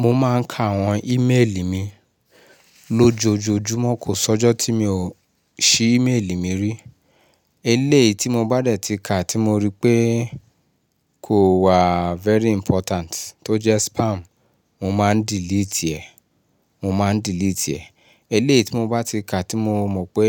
Mo máa ń ka àwọn ímélì mi lójoojúmọ́, kò sí ọjọ́ tí mi ò sí ímélì mi rí. Eléyìí tí mo bá dẹ̀ ti kà tí mo rí pé kò wà very important tó jẹ́ spam, mo máa ń delete ẹ̀, mo máa ń delete ẹ̀. Eléyìí tí mo bá ti ka tí mo mọ̀ pé